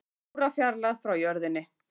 Í órafjarlægð frá jörðinni